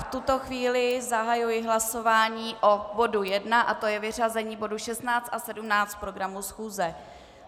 V tuto chvíli zahajuji hlasování o bodu 1 a to je vyřazení bodu 16 a 17 z programu schůze.